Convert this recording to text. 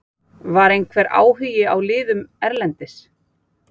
Var einhver áhugi hjá liðum erlendis?